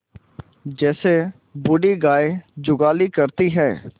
जैसे बूढ़ी गाय जुगाली करती है